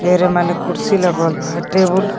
ढेरे माने कुर्सी लगवल बा टेबुल लगव --